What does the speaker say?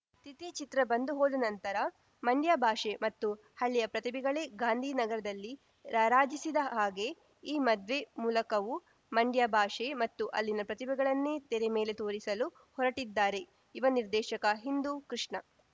ತಿಥಿ ಚಿತ್ರ ಬಂದು ಹೋದ ನಂತರ ಮಂಡ್ಯ ಭಾಷೆ ಮತ್ತು ಹಳ್ಳಿಯ ಪ್ರತಿಭೆಗಳೇ ಗಾಂಧಿನಗರದಲ್ಲಿ ರಾರಾಜಿಸಿದ ಹಾಗೆ ಈ ಮದ್ವೆ ಮೂಲಕವೂ ಮಂಡ್ಯ ಭಾಷೆ ಮತ್ತು ಅಲ್ಲಿನ ಪ್ರತಿಭೆಗಳನ್ನೇ ತೆರೆ ಮೇಲೆ ತೋರಿಸಲು ಹೊರಟಿದ್ದಾರೆ ಯುವ ನಿರ್ದೇಶಕ ಹಿಂದೂ ಕೃಷ್ಣ